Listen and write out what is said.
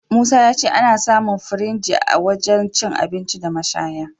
Musa ya ce ana samun firinji a wajen cin abinci da mashaya..